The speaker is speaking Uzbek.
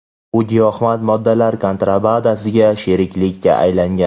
u giyohvand moddalar kontrabandasiga sheriklikda aylangan.